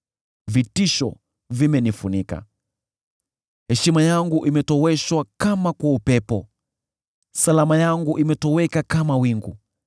Vitisho vimenifunika; heshima yangu imetoweshwa kama kwa upepo, salama yangu imetoweka kama wingu.